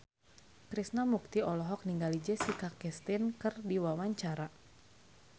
Krishna Mukti olohok ningali Jessica Chastain keur diwawancara